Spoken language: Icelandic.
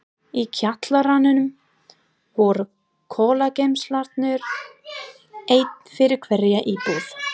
Í kjallaranum voru kolageymslurnar, ein fyrir hverja íbúð.